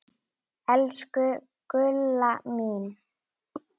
Elsku Gulla mín.